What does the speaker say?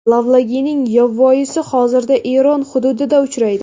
Lavlagining yovvoyisi hozirda Eron hududida uchraydi.